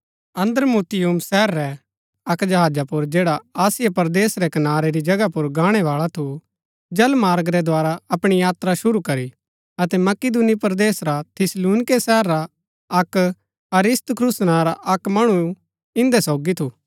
अद्रमुत्तियुम शहर रै अक्क जहाजा पुर जैडा आसिया रै कनारै री जगहा पुर गाणै बाळा थु जलमार्ग रै द्धारा अपणी यात्रा शुरू करी अतै मकिदुनी परदेस रा थिस्सलुनीके शहरा अक अरिस्तर्खुस नां रा अक्क मणु इन्दै सोगी थु